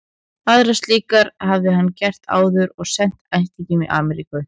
Aðrar slíkar hafði hann gert áður og sent ættingjum í Amríku.